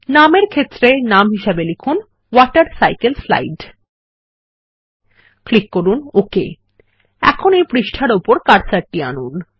নামের ক্ষেত্র এ নাম হিসাবে লিখুন ওয়াটারসাইকেলসলাইড ক্লিক করুন ওক এখন এই পাতার উপর কার্সারটি আনুন